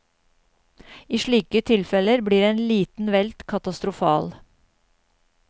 I slike tilfeller blir en liten velt katastrofal.